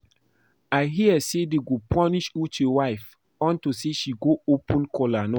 I hear say dey go punish Uche wife unto say she go open kola nut